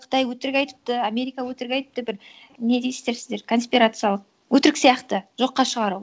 қытай өтірік айтыпты америка өтірік айтыпты бір не дейсіздер сіздер конспирациялық өтірік сияқты жоққа шығару